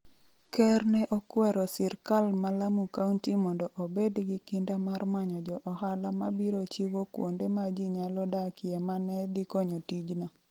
Ker ne okwero sirkal ma Lamu County mondo obed gi kinda mar manyo jo ohala ma biro chiwo kuonde ma ji nyalo dakie ma ne dhi konyo tijno.